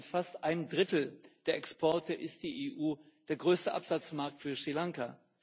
Mit fast einem Drittel der Exporte ist die EU der größte Absatzmarkt für Sri Lanka.